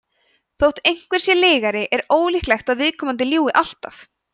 þótt einhver sé lygari er ólíklegt að viðkomandi ljúgi alltaf